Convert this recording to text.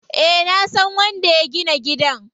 Eh nasan wanda ya gina gidan.